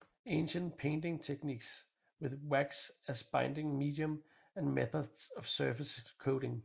Ancient Painting Techniques with Wax as a Binding Medium and Methods of Surface Coating